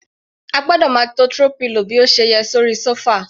A gbọ́dọ̀ máa to throw pillow bí ó ṣe yẹ sórí sofa.